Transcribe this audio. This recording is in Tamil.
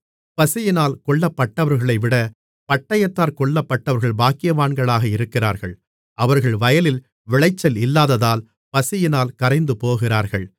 பசியினால் கொல்லப்பட்டவர்களைவிட பட்டயத்தால் கொல்லப்பட்டவர்கள் பாக்கியவான்களாக இருக்கிறார்கள் அவர்கள் வயலில் விளைச்சல் இல்லாததால் பசியினால் கரைந்து போகிறார்கள்